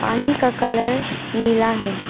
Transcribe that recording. पानी का कलर नीला है।